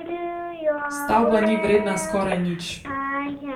Stavba ni vredna skoraj nič.